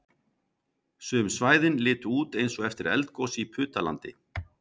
Sum svæðin litu út eins og eftir eldgos í Putalandi